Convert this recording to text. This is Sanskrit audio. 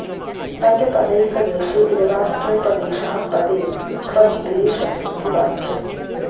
न च पदैकदेशे एवास्तूपदेशः पदे त्वतिदेश इति वाच्यम्